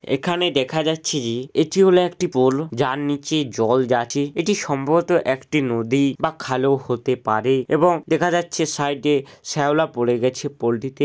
এখানে দেখা যাচ্ছে যে এটি হলো একটি পোল যার নিচে জল যাচ্ছে এটি সম্ভবত একটি নদী বা খাল-ও হতে পারে এবং দেখা যাচ্ছে সাইডে শ্যাওলা পড়ে গেছে পোলটিতে ।